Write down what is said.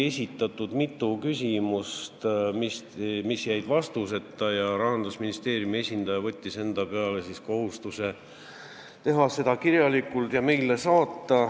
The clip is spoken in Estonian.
Esitati mitu küsimust, mis jäid vastuseta, Rahandusministeeriumi esindaja võttis endale kohustuse saata meile kirjalikud vastused.